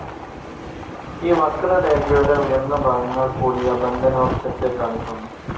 ഈ വക്രരേഖയുടെ ഉയർന്ന ഭാഗങ്ങൾ കൂടിയ ബന്ധനോർജ്ജത്തെ കാണിക്കുന്നു.